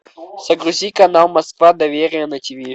загрузи канал москва доверие на тиви